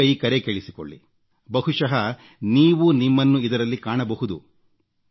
ಈಗ ಈ ಕರೆ ಕೇಳಿಸಿಕೊಳ್ಳಿ ಬಹುಶಃ ನೀವೂ ನಿಮ್ಮನ್ನು ಇದರಲ್ಲಿ ಕಾಣಬಹುದು